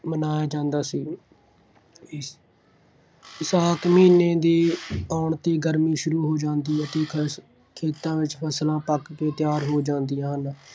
ਮਨਾਇਆ ਜਾਂਦਾ ਸੀ। ਵਿਸਾਖ ਮਹੀਨੇ ਦੇ ਆਉਣ 'ਤੇ ਹੀ ਗਰਮੀ ਸ਼ੁਰੂ ਹੋ ਜਾਂਦੀ ਹੈ ਅਤੇ ਖੇਤਾਂ ਵਿਚ ਫਸਲਾਂ ਪੱਕ ਕੇ ਤਿਆਰ ਹੋ ਜਾਂਦੀਆਂ ਹਨ।